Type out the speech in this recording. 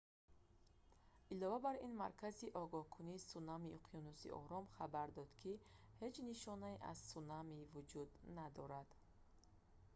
илова бар ин маркази огоҳкунии сунамии уқёнуси ором хабар дод ки ҳеҷ нишонае аз сунами вуҷуд надорад